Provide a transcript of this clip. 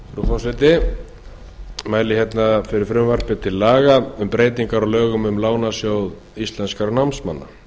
forseti ég mæli hérna fyrir frumvarpi til laga um breytingar á lögum um lánasjóð íslenskra námsmanna við